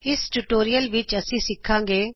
ਇਸ ਟਯੂਟੋਰਿਅਲ ਵਿਚ ਅਸੀਂ ਸਿਖਾਗੇ